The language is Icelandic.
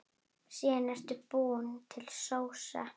Síðan er búin til sósa.